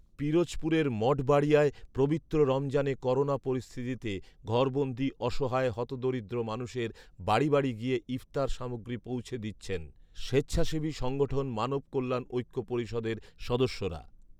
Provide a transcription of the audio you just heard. পিরোজপুরের মঠবাড়িয়ায় পবিত্র রমজানে করোনা পরিস্থিতিতে ঘরবন্দী অসহায় হতদরিদ্র মানুষের বাড়ি বাড়ি গিয়ে ইফতার সামগ্রী পৌঁছে দিচ্ছেন স্বেচ্ছাসেবী সংগঠণ মানব কল্যাণ ঐক্য পরিষদের সদস্যরা